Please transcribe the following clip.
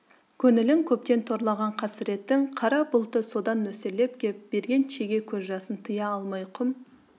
көңілін көптен торлаған қасіреттің қара бұлты содан нөсерлеп кеп берген шеге көз жасын тыя алмай құм